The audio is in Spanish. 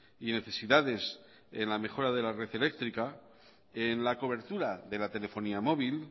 y necesidades en la mejora de la red eléctrica en la cobertura de la telefonía móvil